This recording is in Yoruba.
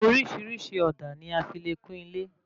Orísirísi òdà ní a fí le kún ilé